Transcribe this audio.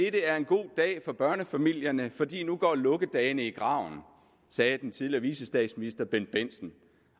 er en god dag for børnefamilierne fordi nu går lukkedagene i graven sagde den tidligere vicestatsminister bendt bendtsen